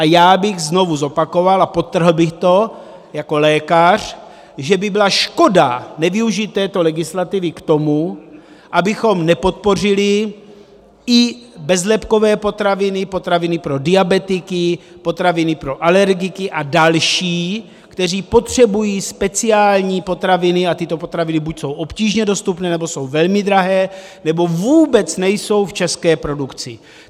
A já bych znovu zopakoval a podtrhl bych to jako lékař, že by byla škoda nevyužít této legislativy k tomu, abychom nepodpořili i bezlepkové potraviny, potraviny pro diabetiky, potraviny pro alergiky a další, kteří potřebují speciální potraviny, a tyto potraviny buď jsou obtížně dostupné, nebo jsou velmi drahé, nebo vůbec nejsou v české produkci.